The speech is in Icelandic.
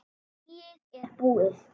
Blýið er búið.